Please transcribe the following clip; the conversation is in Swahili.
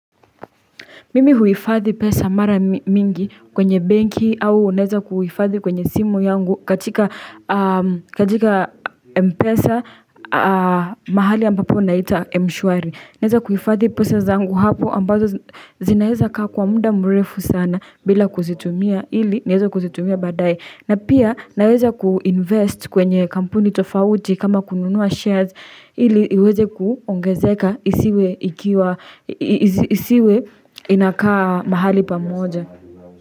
Mimi huifadhi pesa mara mingi kwenye banki au unaeza kuifadhi kwenye simu yangu katika mpesa mahali ambapo na ita mshwari. Naeza kuifadhi pesa zangu hapo ambazo zinaeza kwa muda mrefu sana bila kuzitumia ili niweze kuzitumia badaye. Na pia naweza ku-invest kwenye kampuni tofauti kama kununua shares ili iweze kuongezeka isiwe inakaa mahali pamoja.